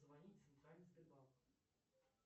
звонить в центральный сбербанк